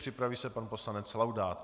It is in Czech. Připraví se pan poslanec Laudát.